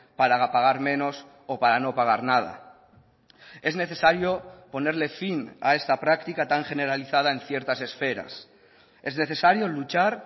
para pagar menos o para no pagar nada es necesario ponerle fin a esta práctica tan generalizada en ciertas esferas es necesario luchar